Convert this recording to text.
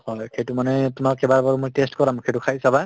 সেইটো মানে তোমাক কেইবা বাৰো taste কৰাম, সেইটো খাই চাবা